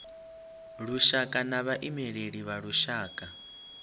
lushaka na vhaimeleli vha lushaka